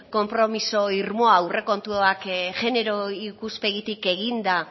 konpromiso irmoa aurrekontuak jenero ikuspegitik eginda